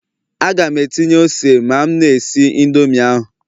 Aga m etinye ose ma m na-esi Indomi ahụ